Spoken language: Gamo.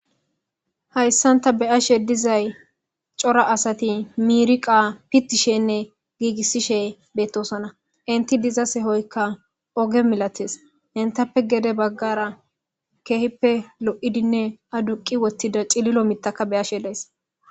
hayssan ta be ashe dizay cora asati miriqa pittishenne giigissishe bettosona inti diza sehoykka oge milatees entappe gede baggara keehippe lo7idinne aduqi wottida cililo mitaka be ashe lees